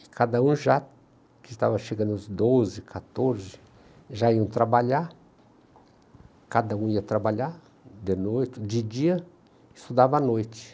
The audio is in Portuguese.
E cada um já, que estava chegando aos doze, quatorze, já iam trabalhar, cada um ia trabalhar de noite, de dia, estudava à noite.